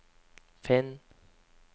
finn